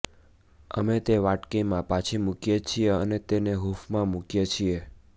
અમે તે વાટકીમાં પાછી મૂકીએ છીએ અને તેને હૂંફમાં મૂકીએ છીએ